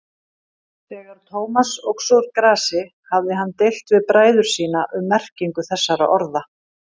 Þegar Thomas óx úr grasi hafði hann deilt við bræður sína um merkingu þessara orða.